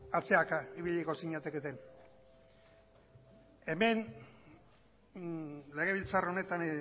atzeraka ibiliko zinateketen hemen legebiltzar honetan